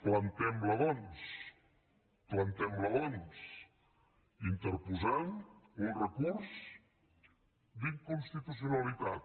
plantem la doncs plantem la doncs interposant un recurs d’inconstitucionalitat